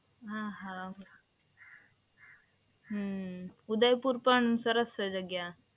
હા હા. હંમ ઉદયપુર પણ સરસ છે જગ્યા.